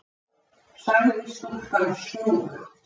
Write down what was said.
sagði stúlkan snúðugt.